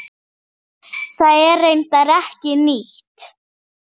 Það er reyndar ekki nýtt.